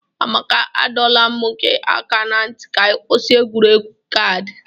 Amaka, adọla m gị aka na ntị ka ị kwụsị egwuregwu kaadị!